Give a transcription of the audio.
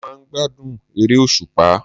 Mo máa n gbádùn eré òsùpá